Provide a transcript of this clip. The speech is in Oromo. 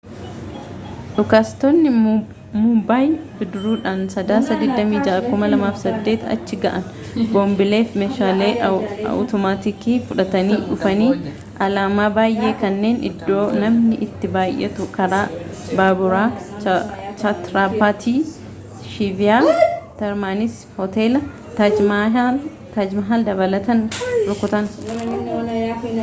dhukaastotni mumbaay bidiruudhaan sadaasa 26 2008 achi ga'an boombilee fi meeshaalee awutomaatikii fudhatanii dhufanii alaamaa baayyee kanneen iddoo namni itti baayyatu karaa baaburaa chaatraappaatii shivaajii terminas fi hoteela taaj mahal dabalatan rukutan